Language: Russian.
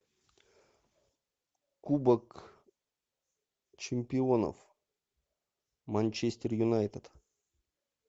кубок чемпионов манчестер юнайтед